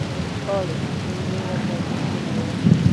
Olly, rĩu nĩ thaa irĩkũ Nairobi?